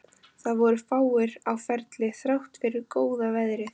Það voru fáir á ferli þrátt fyrir góða veðrið.